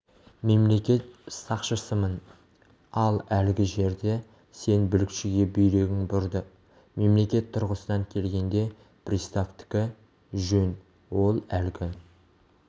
мемлекет сақшысымын ал әлгі жерде сен бүлікшіге бүйрегің бұрды мемлекет тұрғысынан келгенде приставтікі жөн ол әлгі